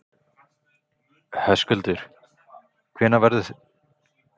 Höskuldur, hvenær verður þetta frumvarp lagt fram?